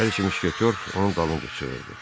Hər iki müşketyor onun dalınca çığırdı.